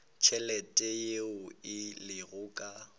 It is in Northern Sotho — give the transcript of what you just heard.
tšhelete yeo e lego ka